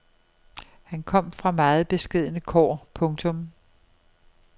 Han kom fra meget beskedne kår. punktum